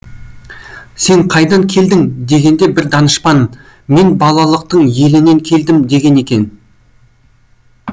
сен қайдан келдің дегенде бір данышпан мен балалықтың елінен келдім деген екен